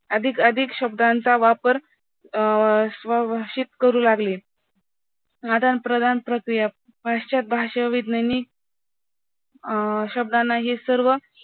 अधिक अधिक शब्दांचा वापर अं स्वभाषेत करू लागले, आदान प्रदान प्रक्रिया पश्चात भाषाविज्ञान ही अं शब्दांना हे सर्व